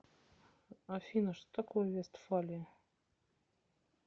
афина что такое вестфалия